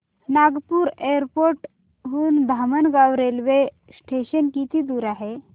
Nagpur airport हून Dhamangaon railway station किती दूर आहे